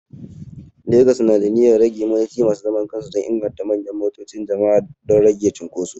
Legas na da niyyar rage motoci masu zaman kansu dan inganta manyan motoci jama'a don rage cunkuso